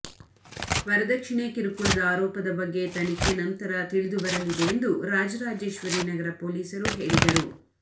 ವರದಕ್ಷಿಣೆ ಕಿರುಕುಳದ ಆರೋಪದ ಬಗ್ಗೆ ತನಿಖೆ ನಂತರ ತಿಳಿದು ಬರಲಿದೆ ಎಂದು ರಾಜರಾಜೇಶ್ವರಿ ನಗರ ಪೊಲೀಸರು ಹೇಳಿದರು